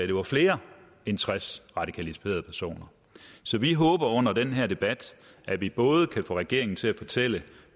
det var flere end tres radikaliserede personer så vi håber under den her debat at vi både kan få regeringen til at fortælle